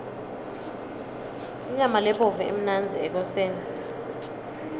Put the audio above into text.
inyama lebovu imnandzi ekoseni